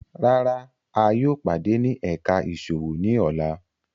Rárá, a yóò pade ni ẹka iṣowo ni ọla